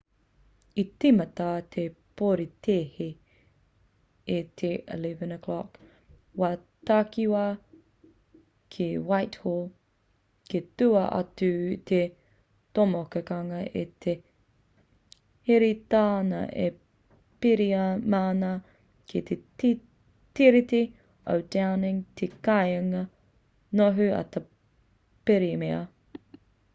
i tīmata te porotēhi i te 11:00 wā takiwā utc+1 ki whitehall kei tua atu i te tomokanga e hēteritia ana e te pirihimana ki te tiriti o downing te kāinga noho a te pirimia